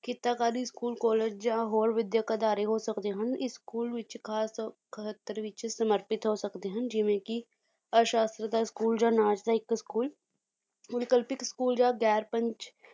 ਕਿੱਤਾਕਾਰੀ school college ਜਾਂ ਹੋਰ ਵਿੱਦਿਅਕ ਅਦਾਰੇ ਹੋ ਸਕਦੇ ਹਨ, ਇਸ ਸਕੂਲ ਵਿੱਚ ਖਾਸ ਤੌਰ ਖਹਤਰ ਵਿੱਚ ਸਮਰਪਿਤ ਹੋ ਸਕਦੇ ਹਨ ਜਿਵੇਂ ਕੀ ਅਸ਼ਸਤਰ ਦਾ school ਜਾਂ ਨਾਚ ਦਾ ਇੱਕ school school ਜਾਂ ਦੈਰਪੰਚ